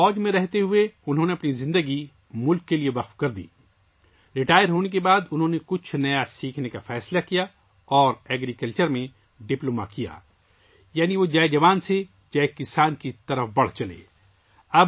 فوج میں رہتے ہوئے انہوں نے اپنی زندگی ملک کے لیے وقف کر دی، ریٹائرمنٹ کے بعد انہوں نے کچھ نیا سیکھنے کا فیصلہ کیا اور زراعت میں ڈپلومہ کیا یعنی وہ جئے جوان سے جئے کسان میں چلے گئے